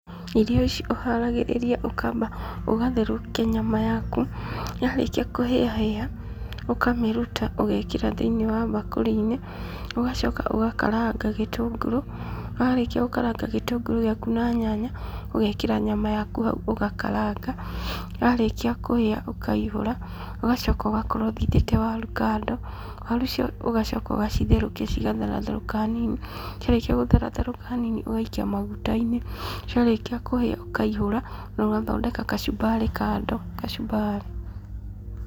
Irio ici ũharagĩrĩria, ũkamba ũgatherũkia nyama yaku. Yarĩkia kũhĩahĩa ũkamĩruta ũgekĩra thĩiniĩ wa bakũri-inĩ. Ũgacoka ũgakaranga gĩtũngũrũ, warĩkia gũkaranga gĩtũngũrũ gĩaku na nyanya, ũgekĩra nyama yaku hau ũgakaranga, yarĩkia kũhĩa ũkaihũra. Ũgacoka ũgakorwo ũthithite waru kado , waru icio ũgacoka ũgacitherũkia cigatheratherũka hanini, ciarĩkia gũtheratherũka hanini ũgaikia maguta-inĩ. Ciarĩkia kũhĩa ũkaihũra nogathondeka kachumbari kado, kachumbari.